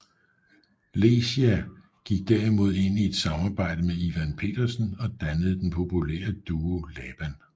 Lecia gik derimod ind i et samarbejde med Ivan Pedersen og dannede den populære duo Laban